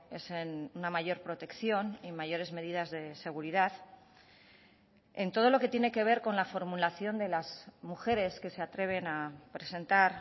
es en una mayor protección y mayores medidas de seguridad en todo lo que tiene que ver con la formulación de las mujeres que se atreven a presentar